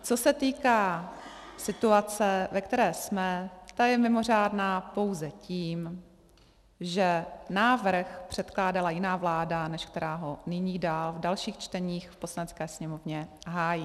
Co se týká situace, ve které jsme, ta je mimořádná pouze tím, že návrh předkládala jiná vláda, než která ho nyní dál v dalších čteních v Poslanecké sněmovně hájí.